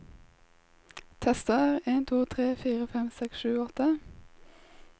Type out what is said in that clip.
Tester en to tre fire fem seks sju åtte